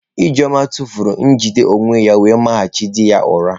Ijeoma tụfuru njide onwe ya wee mahachi di ya ụra.